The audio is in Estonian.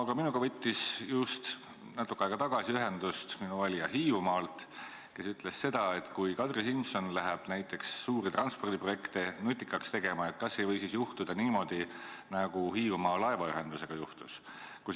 Aga minuga võttis natuke aega tagasi ühendust üks minu valija Hiiumaalt, kes ütles, et kui Kadri Simson läheb suuri transpordiprojekte nutikaks tegema, kas siis ei või juhtuda niimoodi, nagu Hiiumaa laevaühendusega juhtus.